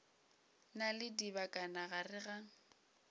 na le dibakana gare ga